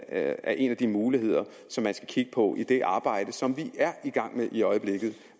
er en af de muligheder som man skal kigge på i det arbejde som vi er i gang med i øjeblikket